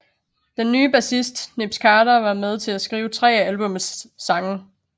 Den nye bassist Nibbs Carter var med til at skrive tre af albummets sange